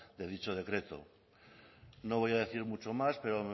de dicho decreto no voy a decir mucho más pero